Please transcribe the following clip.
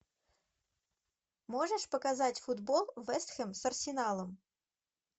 можешь показать футбол вест хэм с арсеналом